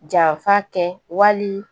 Janfa kɛ wali